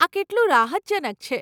આ કેટલું રાહતજનક છે.